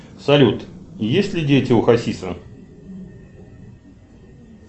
салют есть ли дети у хасиса